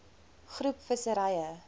groep visserye